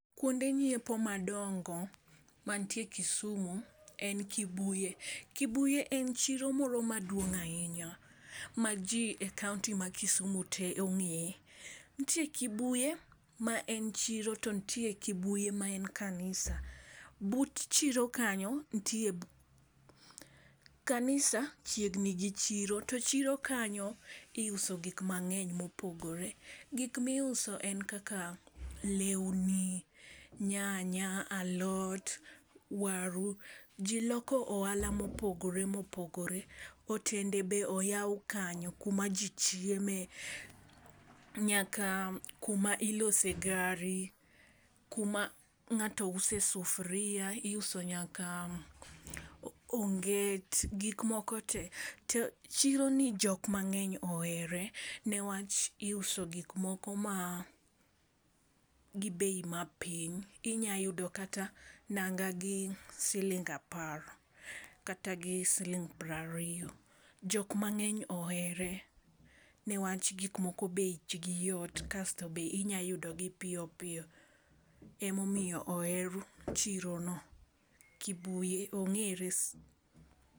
Kuonde ng'iepo madongo mantie kisumu en kibuye. Kibuye en chiro moro maduong' ahinya, ma jii e kaunti ma Kisumu tee ong'eye. Ntie kibuye ma en chiro to ntie kibuye ma en kanisa. But chiro kanyo ntie kanisa chiegni gi chiro to chiro kanyo iuso gik mang'eny mopogore . Gik miuso en kaka lewni, nyanya, alot, waru, jii loko ohala mopogore mopogore, otende be oyaw kanyo kuma ji chieme nyaka kuma ilose gari , kuma ng'ato use sufuria iuso nyaka o onget gike moko tee te. Chiro ni jok mang'eny ohere newach iuso gik moko ma gi bei mapiny. Inya yudo kata nanga gi siling apar, kata gi siling pra riyo. Jok mang'eny ohere newach gik moko bech gi yot kasto be, inya yudo gi piyo piyo. Emomiyo oher chiro no kibuye ong'ere sana